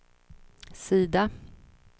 sida